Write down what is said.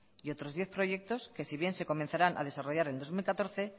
y otros diez proyectos que si bien se comenzarán a desarrollar en dos mil catorce